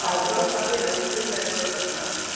உக்கடம் தாண்டி right side ல ஏதோ ஒரு cut ல